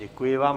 Děkuji vám.